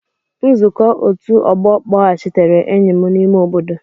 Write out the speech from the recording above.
Nzukọ ọtu ogbo kpọghachitere enyi m n'ime obodo.